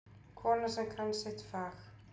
Kona sem kann sitt fag.